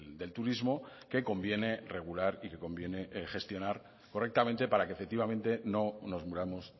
del turismo que conviene regular y que conviene gestionar correctamente para que efectivamente no nos muramos